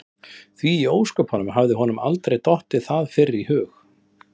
Því í ósköpunum hafði honum aldrei dottið það fyrr í hug?